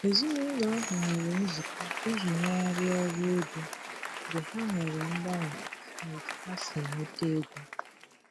Èzìnàụlọ ahụ nwere nzụkọ iji nyèghariá ọrụ ego mgbe ha nwere mganwe n' ọ̀tu ha si enweta ègò.